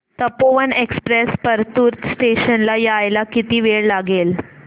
Tapovan express Partur station ला यायला किती वेळ लागेल